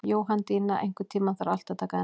Jóhanndína, einhvern tímann þarf allt að taka enda.